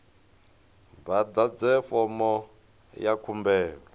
vha ḓadze fomo ya khumbelo